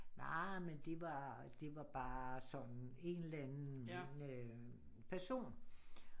Nej men det var det var bare sådan en eller anden person